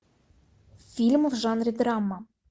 фильм в жанре драма